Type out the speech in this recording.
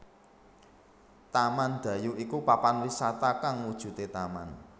Taman Dayu iku papan wisata kang wujude taman